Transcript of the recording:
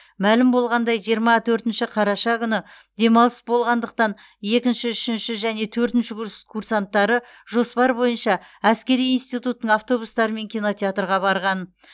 мәлім болғандай жиырма төртінші қараша күні демалыс болғандықтан екінші үшінші және төртінші курс курсанттары жоспар бойынша әскери институттың автобустарымен кинотеатрға барған